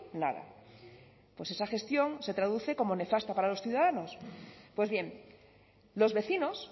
nada pues esa gestión se traduce como nefasta para los ciudadanos pues bien los vecinos